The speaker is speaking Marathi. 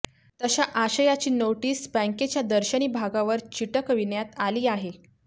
तशा आशयाची नाेटीस बँकेच्या दर्शनी भागावर चिटकविण्यात आली आहे